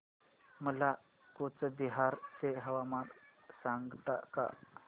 मला कूचबिहार चे हवामान सांगता का